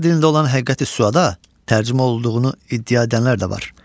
Ana dilində olan Həqiqəti Süəda tərcümə olunduğunu iddia edənlər də var.